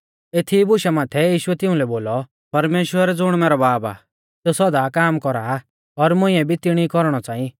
एथीई बुशा माथै यीशुऐ तिउंलै बोलौ परमेश्‍वर ज़ुण मैरौ बाब आ सेऊ सौदा काम कौरा आ और मुंइऐ भी तिणी कौरणौ च़ांई